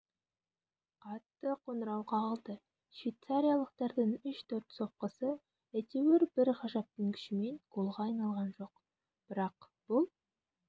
қатты қоңырау қағылды швейцариялықтардың үш-төрт соққысы әйтеуір бір ғажаптың күшімен голға айналған жоқ бірақ бұл